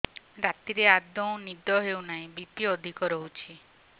ରାତିରେ ଆଦୌ ନିଦ ହେଉ ନାହିଁ ବି.ପି ଅଧିକ ରହୁଛି